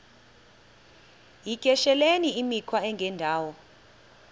yityesheleni imikhwa engendawo